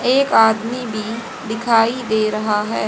एक आदमी भी दिखाई दे रहा है।